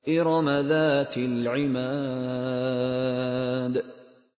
إِرَمَ ذَاتِ الْعِمَادِ